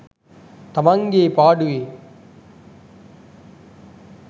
තමන්ගේ පාඩුවේ